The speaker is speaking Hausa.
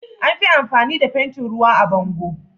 Anfi amfani da fentin ruwa a bango